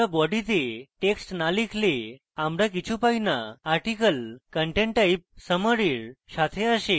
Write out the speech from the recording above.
আমরা body তে text না লিখলে আমরা কিছু পাই না article content type summary এর সাথে আসে